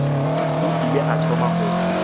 o ile a thoma go